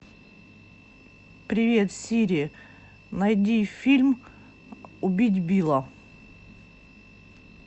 привет сири найди фильм убить билла